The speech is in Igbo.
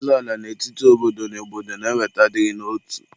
Ịzọ ala n'etiti obodo na obodo na-eweta adịghị n'otu.